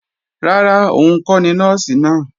Rárá, òun kọ́ ni Nọ́ọ̀sì náà